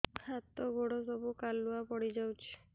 ହାତ ଗୋଡ ସବୁ କାଲୁଆ ପଡି ଯାଉଛି